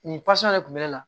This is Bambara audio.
Nin pas ne kun bɛ ne la